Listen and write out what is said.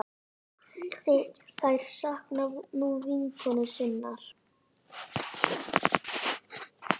Þær sakna nú vinkonu sinnar.